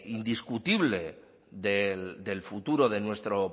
indiscutible del futuro de nuestro